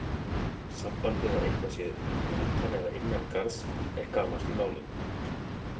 Sambandið að eitthvað sé utan eða innan garðs er gamalt í málinu.